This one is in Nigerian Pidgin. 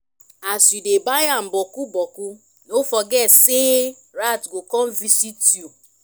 as yu dey buy am bokku bokku no forget sey rat go kon visit yu